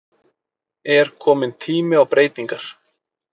Er komin tími á breytingar?